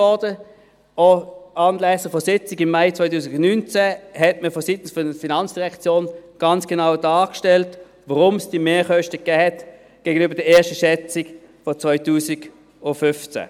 Auch anlässlich der Sitzung von Mai 2019 stellte man vonseiten der FIN ganz genau dar, weshalb es diese Mehrkosten gegenüber der ersten Schätzung von 2015 gab.